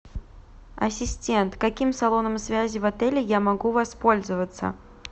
ассистент каким салоном связи в отеле я могу воспользоваться